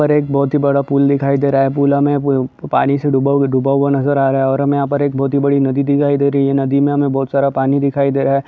पर एक बोहोत ही बड़ा पूल दिखाई दे रहा है पूल हमें पानी से डूबा हुआ डूबा हुआ नजर आ रहा है और हमें यहाँ पर एक बोहोत ही बड़ी नदी दिखाई दे रही है नदी मे हमें बोहोत सारा पानी दिखाई दे रहा है।